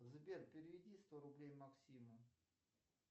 сбер переведи сто рублей максиму